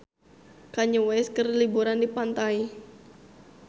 Kanye West keur liburan di pantai